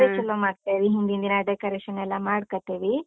ಬಾರಿ ಚಲೋ ಮಾಡ್ತೀವಿ, ಹಿಂದಿನ್ ದಿನ decoration ಎಲ್ಲ ಮಾಡ್ಕತಿವಿ.